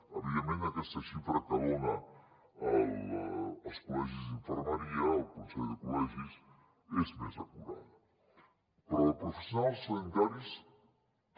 evidentment aquesta xifra que donen els col·legis d’infermeria el consell de col·legis és més acurada però de professionals sanitaris també